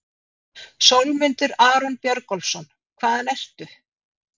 Sólmundur Aron Björgólfsson Hvaðan ertu?